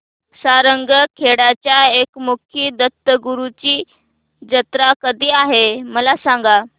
सारंगखेड्याच्या एकमुखी दत्तगुरूंची जत्रा कधी आहे मला सांगा